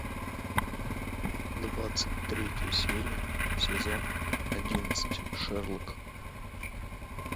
двадцать третья серия сезон одиннадцать шерлок